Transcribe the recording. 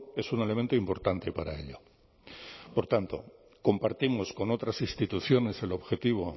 es un elemento importante para ello por tanto compartimos con otras instituciones el objetivo